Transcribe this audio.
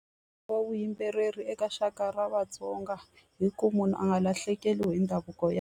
Wa vavuyimbeleri eka rixaka ra vatsonga hi ku munhu a nga lahlekeriwi hi ndhavuko ya.